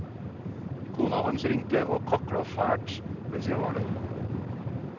Kona hans ringte og kakla fælt mens jeg var der.